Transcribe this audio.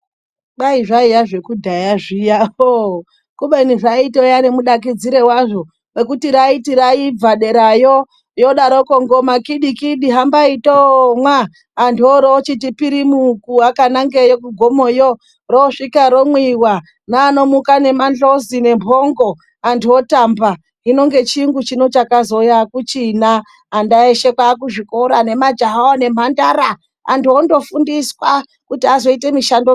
Kwai zvaiya zvekudhaya zviya kubeni zvaitova nemunakidzire wazvo wekuti raibva derayo yodaroko ngoma kidi kidi hambai toomwa. Antu oroochiti pirimuki vakanangeyo kugomoyo, roosvika romwiva nevanomuka nemandhlozi nemphongo antu otamba. Hino ngechiyunguchi chakazouya akuchina. Ana eshe kwaakuzvikora nemajayavo nemhandara. Antu ondofundiswa kuti azoite mushando.